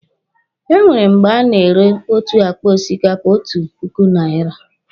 E nwere mgbe a na-ere otu akpa osikapa otu puku naira.